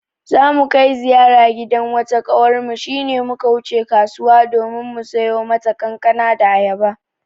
Za mu kai ziyara gidan wata ƙawarmu shi ne muka wuce kasuwa domin mu siyo mata kankana da ayaba.